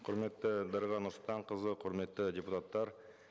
құрметті дариға нұрсұлтанқызы құрметті депутаттар